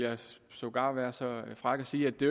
sågar være så fræk at sige at det